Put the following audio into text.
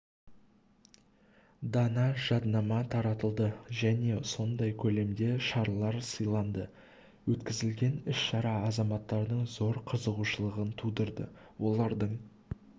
дана жаднама таратылды және сондай көлемде шарлар сыйланды өткізілген іс-шара азаматтардың зор қызығушылығын тудырды олардың